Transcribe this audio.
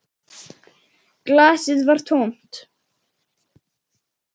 Glasið var tómt.